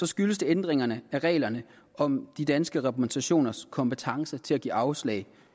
skyldes det ændringen af reglerne om de danske repræsentationers kompetence til at give afslag